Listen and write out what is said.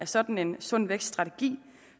sådan sund vækst strategi